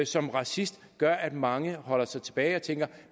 som racist gør altså at mange holder sig tilbage og tænker